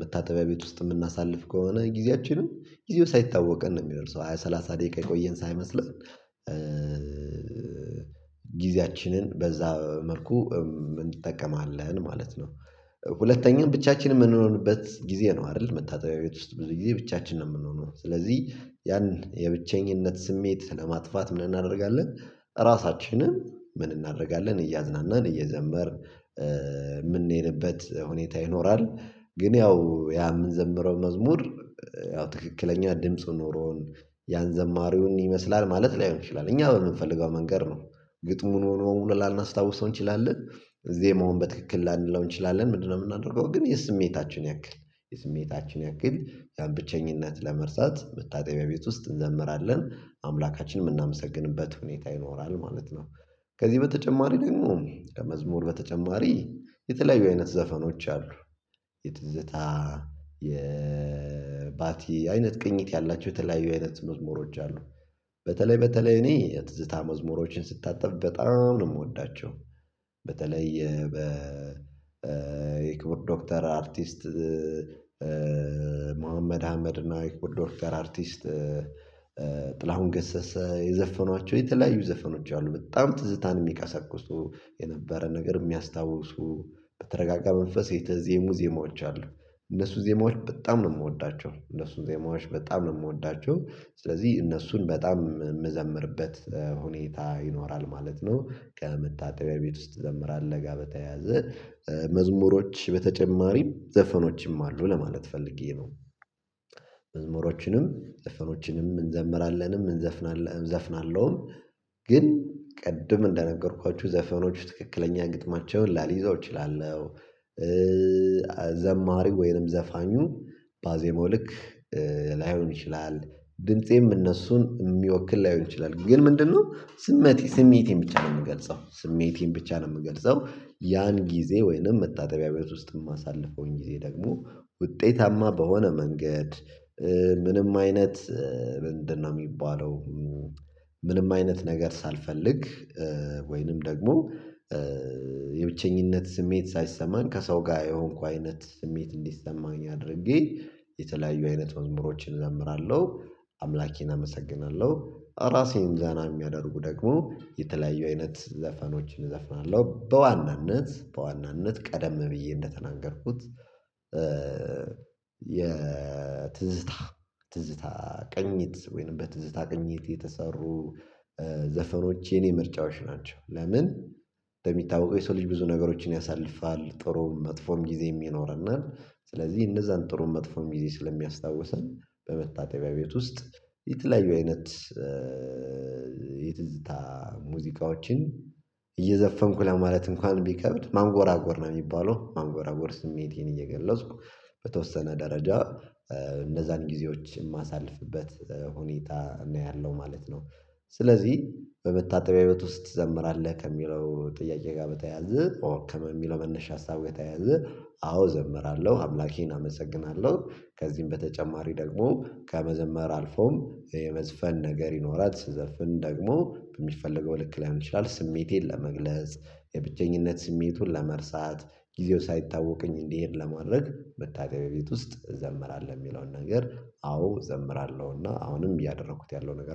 መታጠቢያ ቤት ውስጥ የምናሳልፍ ከሆነ ጊዜያችንም ጊዜው ሳይታወቀን ነው የሚደርሰው ሃያ ሰላሳ ደቂቃ የቆየን ሳይመስለን ጊዜያችንን በዛ መልኩ እንጠቀማለን ማለት ነው። ሁለተኛ ብቻችንን የምንሆንበት ጊዜ ነው አይደል መታጠቢያ ቤት ውስጥ ብዙ ጊዜ ብቻችንን የምንሆነው ስለዚህ ያን የብቸኝነት ስሜት ለማጥፋት ምን እናደርጋለን ራሳችንን ምን እናደርጋለን እያዝናናን እየዘመርን የምንሄድበት ሁኔታ ይኖራል። ግን ያው ያ የምንዘምረው መዝሙር ያው ትክክለኛ ድምፁ ኖሮን ያንዘማሪውን ይመስላል ማለት ላይሆን ይችላል እኛ በምንፈልገው መንገድ ነው። ግጥሙን ሙሉ ሙሉ ላናስታውሰው እንችላለን። ዜማውን መሆን በትክክል ላንለው እንችላለን ምንድንነው የምናደርገው ግን የስሜታችን ያክል የስሜታችን ያክል ያን ብቸኝነት ለመርሳት መታጠቢያ ቤት ውስጥ እንዘምራለን አምላካችን የምናመሰግንበት ሁኔታ ይኖራል ማለት ነው። ከዚህ በተጨማሪ ደግሞ ከመዝሙር በተጨማሪ የተለያዩ አይነት ዘፈኖች አሉ። የትዝታ የባቲ አይነት ቅኝት ያላቸው የተለያዩ አይነት መዝሙሮች አሉ። በተለይ በተለይ እኔ የትዝታ መዝሙሮችን ስታጠብ በጣም ነው የምወዳቸው። በተለይ የበ የክቡር ዶክተር አርቲስት ሙሀመድ አህመድ እና የክቡር ዶክተር አርቲስት ጥላሁን ገሰሰ የዘፈኗቸው የተለያዩ ዘፈኖች አሉ በጣም ትዝታን የሚቀሰቅሱ የነበረ ነገር የሚያስታውሱ በተረጋጋ መንፈሴ የተዜሙ ዜማዎች አሉ። እነሱ ዜማዎች በጣም ነው የምወዳቸው እነሱን ዜማዎች በጣም ነው የምወዳቸው። ስለዚህ እነሱን በጣም የምዘምርበት ሁኔታ ይኖራል ማለት ነው። ከመታጠቢያ ቤት ውስጥ ትዘምራልህ ጋ በተያያዘ መዝሙሮች በተጨማሪም ዘፈኖችም አሉ ለማለት ፈልጌ ነው። መዝሙሮችንም ዘፈኖችንም እንዘምራለንም እንዘፍናለን እዘፍናለሁም ግን ቅድም እንደነገርኳችሁ ዘፈኖች ትክክለኛ ግጥማቸውን ላልይዘው እችላለሁ። ዘማሪ ወይንም ዘፋኙ ባዜመው ልክ ላይሆን ይችላል። ድምፄም እነሱን የሚወክል ላይሆን ይችላል ግን ምንድንነው ስሜት ስሜቴን ብቻ ነው የምገልጸው ስሜቴን ብቻ ነው የምገልጸው። ያን ጊዜ ወይንም መታጠቢያ ቤት ውስጥ የማሳልፈውን ጊዜ ደግሞ ውጤታማ በሆነ መንገድ ምንም አይነት ምንድንነው የሚባለው ምንም አይነት ነገር ሳልፈልግ ወይንም ደግሞ የብቸኝነት ስሜት ሳይሰማን ከሰው ጋር የሆንኩ አይነት ስሜት እንዲሰማኝ አድርጌ የተለያዩ አይነት መዝሙሮችን እዘምራለሁ። አምላኬን አመሰግናለሁ ራሴን ዘና የሚያደርጉ ደግሞ የተለያዩ አይነት ዘፈኖችን እዘፍናለሁ። በዋናነት በዋናነት ቀደም ብዬ እንደተናገርኩት የትዝታ ትዝታ ቅኝት ወይንም በትዝታ ቅኝት የተሰሩ ዘፈኖች የኔ ምርጫዎች ናቸው። ለምን እንደሚታወቀው የሰው ልጅ ብዙ ነገሮችን ያሳልፋል ጥሩ መጥፎም ጊዜም ይኖረናል ስለዚህ እነዛን ጥሩ መጥፎም ጊዜ ስለሚያስታውሰን በመታጠቢያ ቤት ውስጥ የተለያዩ አይነት የትዝታ ሙዚቃዎችን እየዘፈንኩ ለማለት እንኳን ቢከብድ ማንጎራጎር ነው የሚባለው ማንጎራጎር ስሜቴን እየገለጽኩ በተወሰነ ደረጃ እነዛን ጊዜዎች የማሳልፍበት ሁኔታ ነው ያለው ማለት ነው። ስለዚህ በመታጠቢያ ቤት ውስጥ ትዘምራለህ ከሚለው ጥያቄ ጋር በተያያዘ ኦ ከመሚለው መነሻ ሀሳብ ጋር የተያያዘ አዎ እዘምራለሁ አምላኬን አመሰግናለሁ። ከዚህም በተጨማሪ ደግሞ ከመዘመር አልፎም የመዝፈን ነገር ይኖራል ስዘፍን ደግሞ በሚፈለገው ልክ ላይሆን ይችላል። ስሜቴን ለመግለጽ የብቸኝነት ስሜቱን ለመርሳት ጊዜው ሳይታወቀኝ እንዲሄድ ለማድረግ መታጠቢያ ቤት ውስጥ እዘምራለሁ የሚለውን ነገር አዎ እዘምራለሁና አሁንም እያደረኩት ያለው ነገር